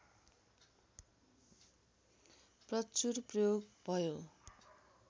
प्रचुर प्रयोग भयो